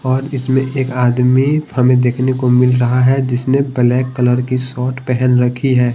और इसमें एक आदमी हमें देखने को मिल रहा है जिसने ब्लैक कलर की शर्ट पहन रखी है।